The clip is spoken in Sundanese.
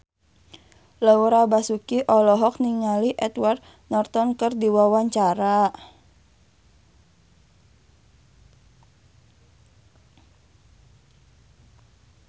Laura Basuki olohok ningali Edward Norton keur diwawancara